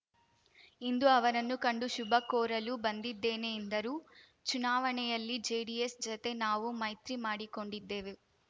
ಇಂದು ಅವರನ್ನು ಕಂಡು ಶುಭ ಕೋರಲು ಬಂದಿದ್ದೇನೆ ಎಂದರು ಚುನಾವಣೆಯಲ್ಲಿ ಜೆಡಿಎಸ್‌ ಜತೆ ನಾವು ಮೈತ್ರಿ ಮಾಡಿಕೊಂಡಿದ್ದೆವು